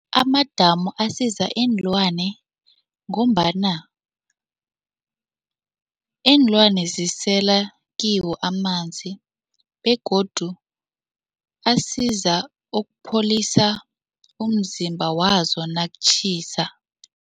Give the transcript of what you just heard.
Amadamu asiza iinlwane ngombana iinlwane zisela kiwo amanzi begodu asiza ukupholisa umzimba wazo nakutjhisa.